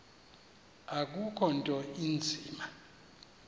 akukho nto inzima